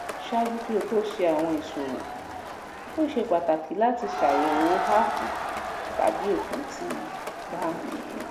ṣaaju ki o to ṣe awọn iṣowo o ṣe pataki lati ṣayẹwo app tabi ofin ti banki